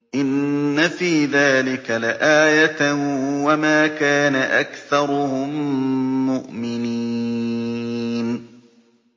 إِنَّ فِي ذَٰلِكَ لَآيَةً ۖ وَمَا كَانَ أَكْثَرُهُم مُّؤْمِنِينَ